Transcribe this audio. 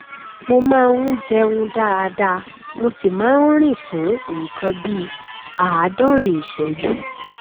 barclays bẹrẹ sí í fi ìpín ìdá méjìlá nínú ọgọrùnún ti ilẹ áfíríkà sílẹ